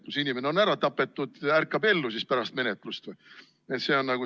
Kui inimene on ära tapetud, siis kas pärast menetlust ärkab ta ellu või?